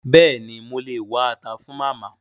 Béèni mo lè wá ata fun Màmá